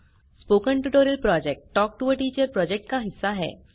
spoken tutorial project talk to a teacher project का हिस्सा है